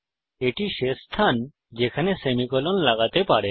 এটি শেষ স্থান যেখানে আপনি সেমিকোলন লাগাতে পারেন